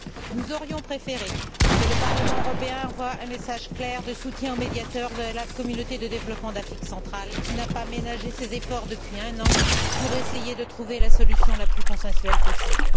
Nous aurions préféré que le Parlement européen envoie un message clair de soutien au médiateur de la communauté de développement d'Afrique centrale, qui n'a pas ménagé ses efforts depuis un an pour essayer de trouver la solution la plus consensuelle possible.